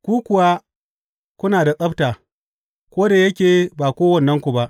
Ku kuwa kuna da tsabta, ko da yake ba kowannenku ba.